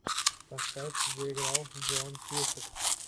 поставь где играл джон кьюсак